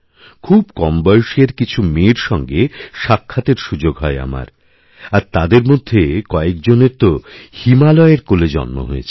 খুব কম বয়সের কিছু মেয়ের সঙ্গে সাক্ষাতের সুযোগ হয় আমার আর তাদেরমধ্যে কয়েকজনের তো হিমালয়ের কোলে জন্ম হয়েছে